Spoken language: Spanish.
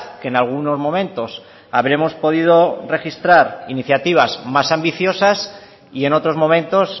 que en algunos momentos habremos podido registrar iniciativas más ambiciosas y en otros momentos